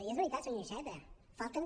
i és veritat senyor iceta falten